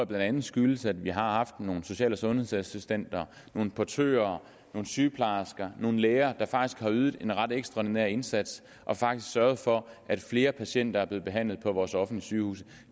blandt andet skyldes at vi har haft nogle social og sundhedsassistenter nogle portører nogle sygeplejersker og nogle læger der faktisk har ydet en ret ekstraordinær indsats og faktisk har sørget for at flere patienter er blevet behandlet på vores offentlige sygehuse